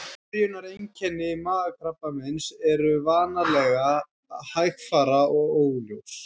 Byrjunareinkenni magakrabbameins eru vanalega hægfara og óljós.